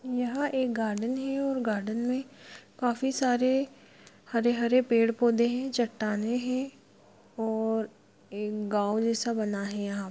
यहाँ एक गार्डन है और गार्डन में काफी सारे हरे-हरे पेड़-पौधे है चट्टानें हैं और एक गांव जैसा बना है यहाँ।